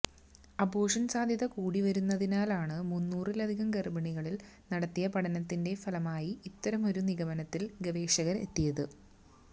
അബോര്ഷന് സാധ്യത കൂടി വരുന്നതിനാല് മുന്നൂറിലധികം ഗര്ഭിണികളില് നടത്തിയ പഠനത്തിന്റെ ഫലമായാണ് ഇത്തരമൊരു നിഗമനത്തില് ഗവേഷകര് എത്തിയത്